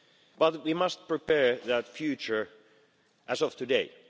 But we must prepare that future as of today.